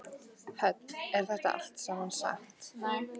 Hödd: Er þetta allt saman satt?